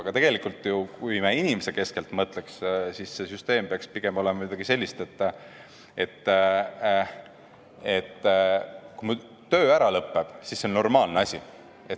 Aga tegelikult, kui me inimesekeskselt mõtleks, siis see süsteem peaks pigem olema midagi sellist, et kui mul töö ära lõppeb, siis see on normaalne asi.